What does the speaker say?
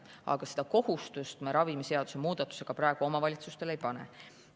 Ent seda kohustust me ravimiseaduse muudatusega praegu omavalitsustele ei pane.